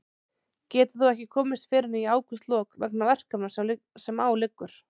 Getur þó ekki komist fyrr en í ágústlok vegna verkefna sem á liggur.